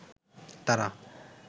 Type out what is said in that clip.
তারা